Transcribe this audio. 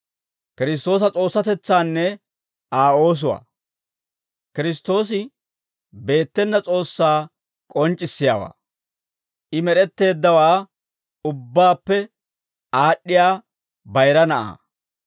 Kiristtoosi beettena S'oossaa k'onc'c'issiyaawaa; I med'etteeddawaa ubbaappe aad'd'iyaa bayira Na'aa.